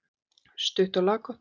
Stutt og laggott.